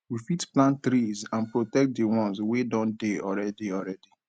we fit plant trees and protect di ones wey don dey already already